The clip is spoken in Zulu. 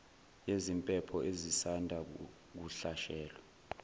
yeziphepho ezisanda kuhlasela